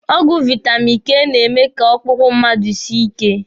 Ọgwụ vaitamini K na-eme ka ọkpụkpọ mmadụ sie ike.